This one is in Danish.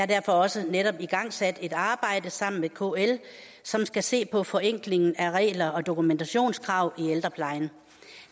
derfor også netop igangsat et arbejde sammen med kl som skal se på forenklingen af regler og dokumentationskrav i ældreplejen